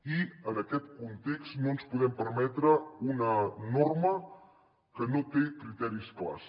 i en aquest context no ens podem permetre una norma que no té criteris clars